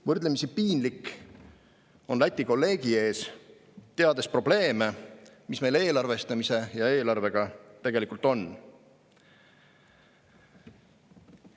Võrdlemisi piinlik on Läti kolleegi ees, teades probleeme, mis meil eelarvestamise ja eelarvega tegelikult on.